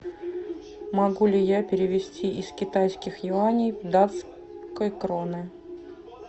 могу ли я перевести из китайских юаней в датской кроны